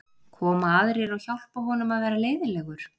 Koma aðrir og hjálpa honum að vera leiðinlegur?